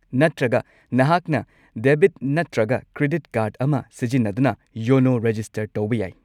ꯅꯠꯇ꯭ꯔꯒ, ꯅꯍꯥꯛꯅ ꯗꯦꯕꯤꯠ ꯅꯠꯇ꯭ꯔꯒ ꯀ꯭ꯔꯦꯗꯤꯠ ꯀꯥꯔꯗ ꯑꯃ ꯁꯤꯖꯤꯟꯅꯗꯨꯅ ꯌꯣꯅꯣ ꯔꯦꯖꯤꯁꯇꯔ ꯇꯧꯕ ꯌꯥꯏ꯫